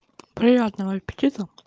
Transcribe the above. приятного аппетита